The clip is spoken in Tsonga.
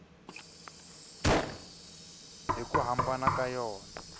hi ku hambana ka yona